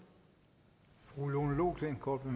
på